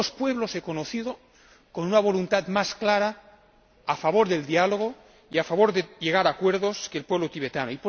Pocos pueblos he conocido con una voluntad más clara a favor del diálogo y a favor de llegar a acuerdos que el pueblo tibetano.